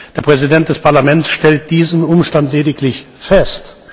Der Präsident des Parlaments stellt diesen Umstand lediglich fest.